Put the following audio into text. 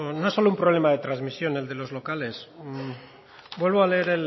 no es solo un problema de transmisión el de los locales vuelvo a leer